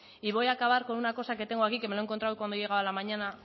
y voy a acabar con una cosa que tengo aquí que me lo he encontrado cuando he llegado a la mañana